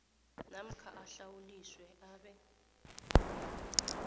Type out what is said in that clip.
namkha ahlawuliswe abe